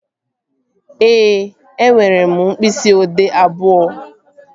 Ee, enwere m mkpịsị odee abụọ